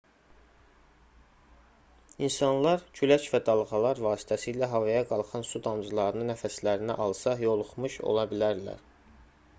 i̇nsanlar külək və dalğalar vasitəsilə havaya qalxan su damcılarını nəfəslərinə alsa yoluxmuş ola bilərlər